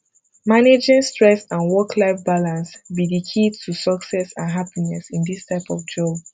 managing stress and worklife balance be di key to success and happiness in dis type of job